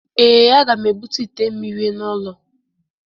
Ee, a ga m ebute ite mmiri n'ụlọ